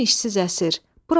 Əlim işsiz əsir.